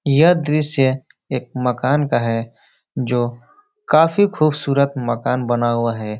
यह दृश्य एक मकान का है जो काफी खूबसूरत मकान बना हुआ है।